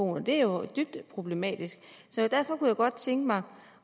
og det er jo dybt problematisk derfor kunne jeg godt tænke mig